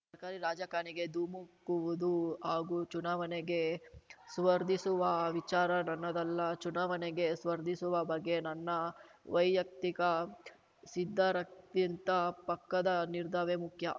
ಸರ್ಕಾರಿ ರಾಜಕಾಣಿಗೆ ಧುಮುಕುವುದು ಹಾಗೂ ಚುನಾವಣೆಗೆ ಸ್ಪರ್ಧಿಸುವ ವಿಚಾರ ನನ್ನದಲ್ಲ ಚುನಾವಣೆಗೆ ಸ್ಪರ್ಧಿಸುವ ಬಗ್ಗೆ ನನ್ನ ವೈಯಕ್ತಿಕ ಸಿದ್ದಾರಕ್ಕಿಂತ ಪಕ್ಕದ ನಿರ್ಧಾವೇ ಮುಖ್ಯ